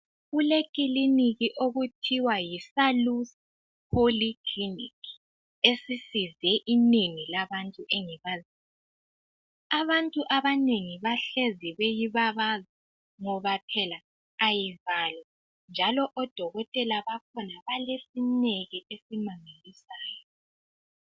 Kuleclinic okuthiwa yiSalus Polyclinic esisize inengi labantu engibaziyo. Abantu abanengi bahlezi beyibabaza ngoba phela ayivalwa njalo odokotela bakhona balesineke esimangalisayo.